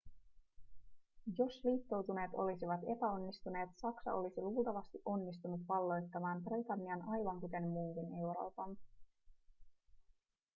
jos liittoutuneet olisivat epäonnistuneet saksa olisi luultavasti onnistunut valloittamaan britannian aivan kuten muunkin euroopan